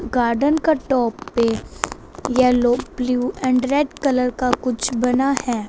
Garden का top पे yellow blue and red colour का कुछ बना हैं।